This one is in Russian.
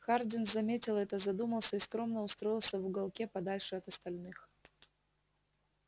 хардин заметил это задумался и скромно устроился в уголке подальше от остальных